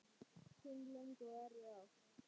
Fimm löng og erfið ár.